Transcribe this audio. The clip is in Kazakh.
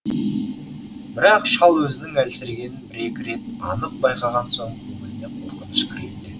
бірақ шал өзінің әлсірегенін бір екі рет анық байқаған соң көңіліне қорқыныш кірейін дед